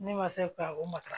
Ne ma se ka o matara